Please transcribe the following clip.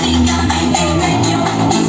Neyləyirəm, eləyirəm.